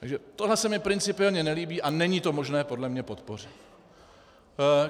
Takže tohle se mi principiálně nelíbí a není to možné podle mě podpořit.